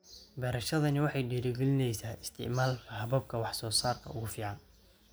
Beerashadani waxay dhiirigelinaysaa isticmaalka hababka wax soo saarka ugu fiican.